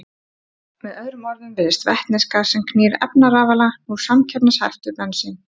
Með öðrum orðum virðist vetnisgas sem knýr efnarafala nú samkeppnishæft við bensín.